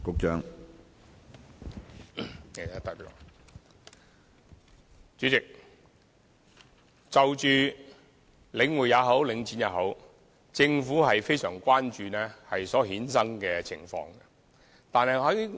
主席，不論是領匯還是領展，政府都非常關注所衍生的問題。